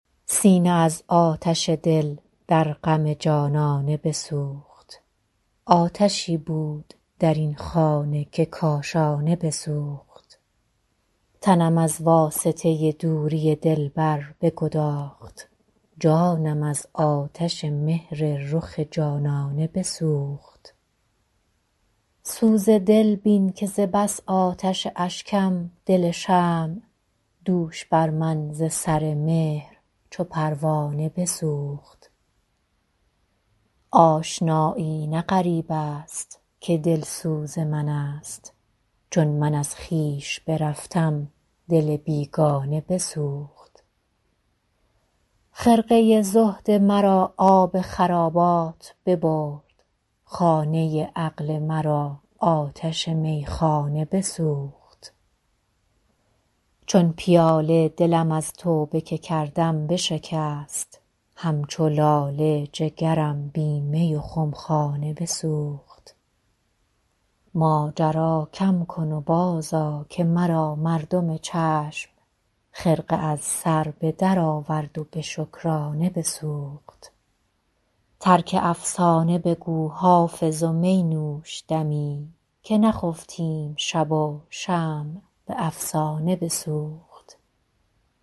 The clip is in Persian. سینه از آتش دل در غم جانانه بسوخت آتشی بود در این خانه که کاشانه بسوخت تنم از واسطه دوری دلبر بگداخت جانم از آتش مهر رخ جانانه بسوخت سوز دل بین که ز بس آتش اشکم دل شمع دوش بر من ز سر مهر چو پروانه بسوخت آشنایی نه غریب است که دلسوز من است چون من از خویش برفتم دل بیگانه بسوخت خرقه زهد مرا آب خرابات ببرد خانه عقل مرا آتش میخانه بسوخت چون پیاله دلم از توبه که کردم بشکست همچو لاله جگرم بی می و خمخانه بسوخت ماجرا کم کن و بازآ که مرا مردم چشم خرقه از سر به درآورد و به شکرانه بسوخت ترک افسانه بگو حافظ و می نوش دمی که نخفتیم شب و شمع به افسانه بسوخت